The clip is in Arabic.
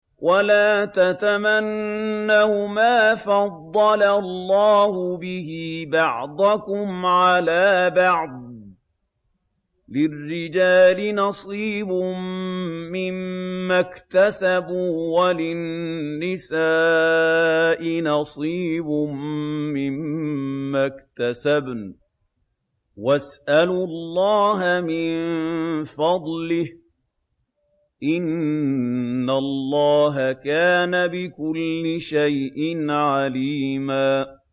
وَلَا تَتَمَنَّوْا مَا فَضَّلَ اللَّهُ بِهِ بَعْضَكُمْ عَلَىٰ بَعْضٍ ۚ لِّلرِّجَالِ نَصِيبٌ مِّمَّا اكْتَسَبُوا ۖ وَلِلنِّسَاءِ نَصِيبٌ مِّمَّا اكْتَسَبْنَ ۚ وَاسْأَلُوا اللَّهَ مِن فَضْلِهِ ۗ إِنَّ اللَّهَ كَانَ بِكُلِّ شَيْءٍ عَلِيمًا